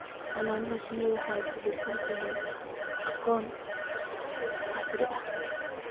Xannaanada shinnidu waxay ku dhisan tahay aqoonta casriga ah.